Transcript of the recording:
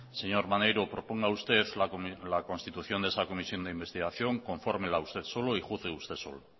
señor maneiro proponga usted la constitución de esa comisión de investigación confórmela usted solo y juzgue usted solo